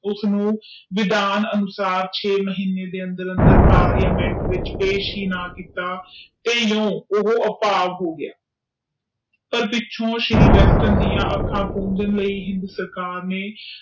ਉਸ ਨੂੰ ਵਿਧਾਨ ਅਨੁਸਾਰ ਛੇ ਮਹੀਨੇ ਦੇ ਅੰਦਰ ਅੰਦਰ ਪਾਰਲੀਮੈਂਟ ਚ ਪੇਸ਼ ਹੈ ਨਾ ਕੀਤਾ ਵੀ ਓਹੀਓ ਆ ਭਾਗ ਹੋਗਿਆ ਪਰ ਪਿੱਛੋਂ ਸ਼੍ਰੀ ਵੈਸਟਰਨ ਦੇ ਅੱਖਾਂ ਪੰਜਣ ਲਾਇ ਹਿੰਦ ਸਰਕਾਰ ਨੇ